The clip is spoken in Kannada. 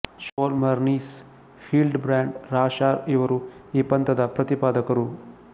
ಷ್ಮೊಲರ್ ನೀಸ್ ಹಿಲ್ಡಬ್ರಾಂಡ್ ರಾಷಾರ್ ಇವರು ಈ ಪಂಥದ ಪ್ರತಿಪಾದಕರು